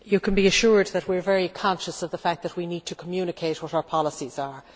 You can be assured that we are very conscious of the fact that we need to communicate what our policies are.